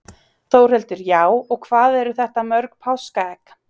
Þórhildur: Já, og hvað eru þetta mörg páskaegg?